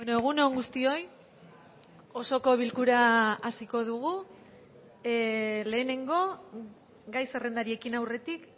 egun on guztioi osoko bilkura hasiko dugu lehenengo gai zerrendari ekin aurretik